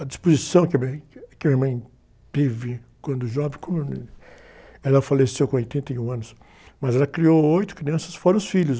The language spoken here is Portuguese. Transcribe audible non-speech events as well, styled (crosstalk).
A disposição que a minha, que a minha mãe teve quando jovem, (unintelligible) ela faleceu com oitenta e um anos, mas ela criou oito crianças, fora os filhos.